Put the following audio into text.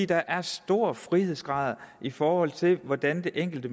der er store frihedsgrader i forhold til hvordan det enkelte